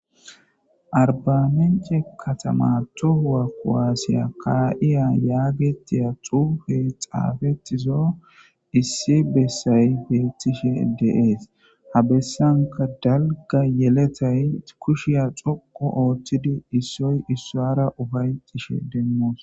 Arbamence katama tohuwa kowaasiya ka7iya yaagetiya xuufe xaafetizo issi bessay beettishe deees ha bessanka dalga yeletay kushiya xoqo ooththidi issoy issoara ufayxishe demmoos.